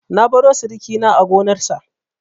Na baro sirikina a gonarsa.